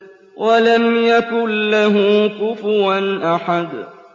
وَلَمْ يَكُن لَّهُ كُفُوًا أَحَدٌ